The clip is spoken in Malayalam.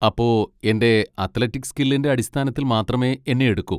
അപ്പൊ എൻ്റെ അത്ലറ്റിക് സ്കില്ലിൻ്റെ അടിസ്ഥാനത്തിൽ മാത്രമേ എന്നെ എടുക്കൂ?